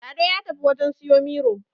Lado ya tafi wajen siyo Miro